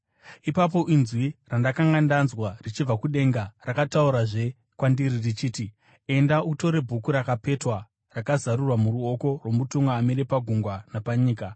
Ipapo inzwi randakanga ndanzwa richibva kudenga rakataurazve kwandiri richiti, “Enda, utore bhuku rakapetwa rakazarurwa muruoko rwomutumwa amire pagungwa napanyika.”